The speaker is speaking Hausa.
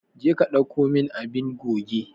Je ka dauko min abun goge.